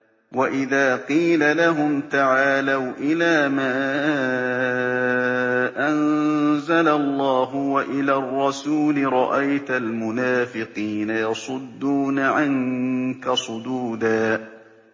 وَإِذَا قِيلَ لَهُمْ تَعَالَوْا إِلَىٰ مَا أَنزَلَ اللَّهُ وَإِلَى الرَّسُولِ رَأَيْتَ الْمُنَافِقِينَ يَصُدُّونَ عَنكَ صُدُودًا